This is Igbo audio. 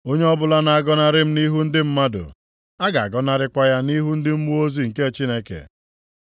Onye ọbụla na-agọnarị m nʼihu ndị mmadụ, a ga-agọnarịkwa ya nʼihu ndị mmụọ ozi nke Chineke.